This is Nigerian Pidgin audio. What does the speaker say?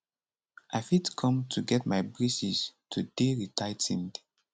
i fit come to get my braces to dey retigh ten ed